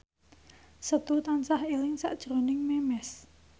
Setu tansah eling sakjroning Memes